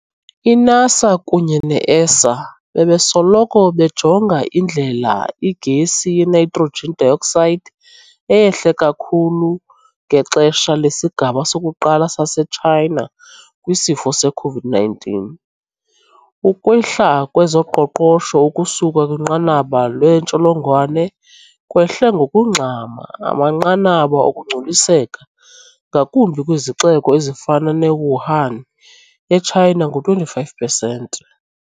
I-NASA kunye ne-ESA bebesoloko bejonga indlela igesi yeNitrogen dioxide eyehle kakhulu ngexesha lesigaba sokuqala saseTshayina kwisifo se-COVID-19. Ukwehla kwezoqoqosho ukusuka kwinqanaba lentsholongwane kwehle ngokungxama amanqanaba okungcoliseka, ngakumbi kwizixeko ezifana neWuhan, eChina ngo-25 pesenti.